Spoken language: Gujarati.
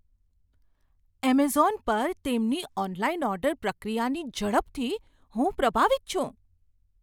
એમેઝોન પર તેમની ઓનલાઈન ઓર્ડર પ્રક્રિયાની ઝડપથી હું પ્રભાવિત છું.